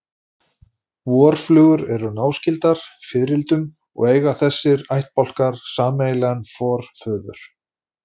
Vorflugur eru náskyldar fiðrildum og eiga þessir ættbálkar sameiginlegan forföður.